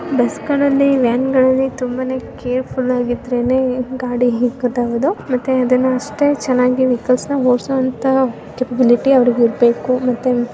ಬಸ್ಗಲ್ಲಿ van ಗಳಲ್ಲಿ ತುಂಬಾ ಕೇರ್ಫುಲ್ಲಾಗಿ ಇರ್ಬೇಕು ಮತ್ತೆ ಅದನ್ನ ಅಷ್ಟೇ ಚೆನ್ನಾಗಿ ಓಡ್ಸೋಅಂತ ಕೇಪಬಲಿಟಿ ಅವರಲ್ಲಿ ಇರ್ಬೇಕು.